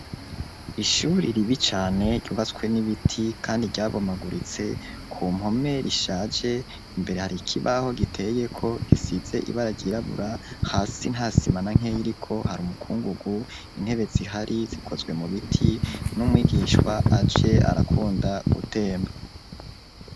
Ishuri ribi cane ryubaswe n'ibiti kandi ryabomaguritse, ku mpome rishaje, imbere hari ikibaho giteyeko gisize ibara ryirabura. Hasi nta sima na nkeya iriko, hari umukungugu, intebe zihari zikozwe mu biti, n'umwigishwa aje arakunda gutemba.